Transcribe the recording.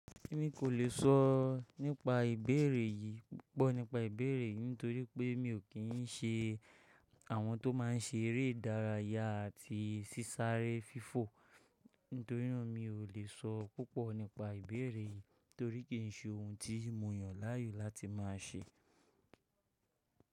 Èmi kò lè sọ nípa ìbéèrè yìí púpọ̀ nípa ìbéèrè nítorí pé mi ò kí ń ṣe àwọn tó má ń ṣe eré ìdárayá àti sísáré fífò. Nítorí náà mi ò lè sọ púpọ̀ nípa ìbéèrè yìí torí kì í ṣe ohun tí mo yàn láàyò láti má a ṣe.